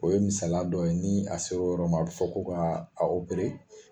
O ye misaliya dɔ ye, ni a se l'o yɔrɔm'a bɛ fɔ ko ka o bere